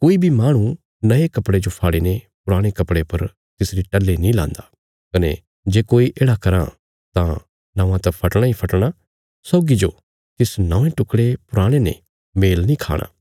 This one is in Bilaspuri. कोई बी माहणु नये कपड़े जो फाड़ी ने पुराणे कपड़े पर तिसरी टल्ही नीं लान्दा कने जे कोई येढ़ा कराँ तां नौआं त फटणा इ फटणा सौगी जो तिस नौंये टुकड़े पुराणे ने मेल नीं खाणा